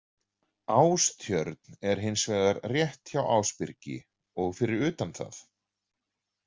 Ástjörn er hins vegar rétt hjá Ásbyrgi og fyrir utan það.